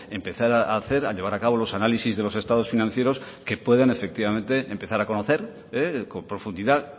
empezar a hacer a llevar a cabo los análisis de los estados financieros que puedan efectivamente empezar a conocer con profundidad